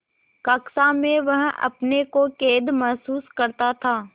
कक्षा में वह अपने को कैद महसूस करता था